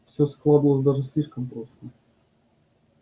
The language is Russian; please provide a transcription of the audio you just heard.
всё складывалось даже слишком просто